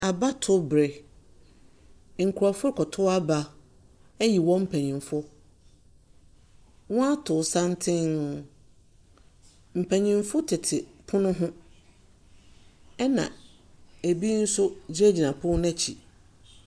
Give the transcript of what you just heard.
Abato bere, nkorɔfo kɔto aba eyi wɔn panyimfo, wɔ ato santen. Mpanyinfo tete pono ho ɛna eni so gyingyina pon n'ekyi.